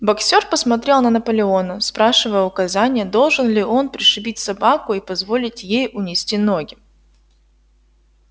боксёр посмотрел на наполеона спрашивая указания должен ли он пришибить собаку и позволить ей унести ноги